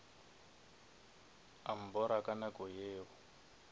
a mbora ka nako yeo